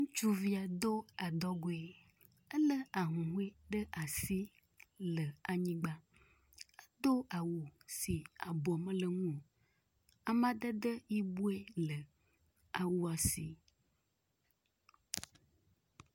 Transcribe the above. ŋutsuvia dó adɔgoe, ele ahuhoe ɖe asi le anyigbã dó awu si abɔ meleŋuwo, amadede yiboe le awua si